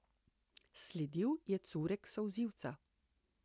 Sledil je curek solzivca.